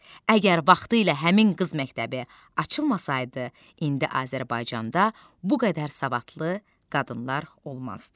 Əgər vaxtilə həmin qız məktəbi açılmasaydı, indi Azərbaycanda bu qədər savadlı qadınlar olmazdı.